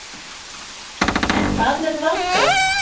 En hvað með Valgarð?